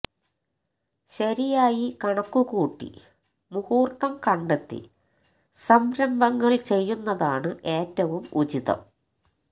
ശരിയായി കണക്കൂ കൂട്ടി മൂഹൂര്ത്തം കണ്ടെത്തി സംരംഭങ്ങള് ചെയ്യുന്നതാണ് ഏറ്റവും ഉചിതം